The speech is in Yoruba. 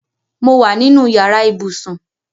Mo wa nínú yàrá ibùsùn